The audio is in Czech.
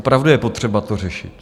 Opravdu je potřeba to řešit.